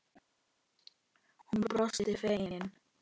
Hún brosti fegin.